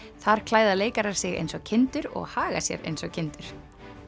þar klæða leikarar sig eins og kindur og haga sér eins og kindur